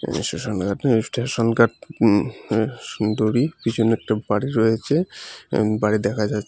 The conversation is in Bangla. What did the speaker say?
সেসষন ঘাট স্টেশন ঘাট উম হে সুন্দরই পিছনে একটি বাড়ি রয়েচে এবং বাড়ির দেখা যা--